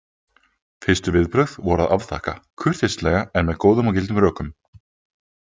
Fyrstu viðbrögð voru að afþakka, kurteislega en með góðum og gildum rökum.